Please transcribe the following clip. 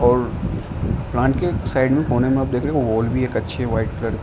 और प्लांट के साइड में कोने में आप देख रहे होंगे एक वाल भी अच्छी है वाइट कलर --